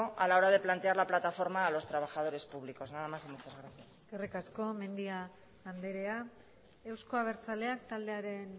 a la hora de plantear la plataforma a los trabajadores públicos nada más y muchas gracias eskerrik asko mendia anderea euzko abertzaleak taldearen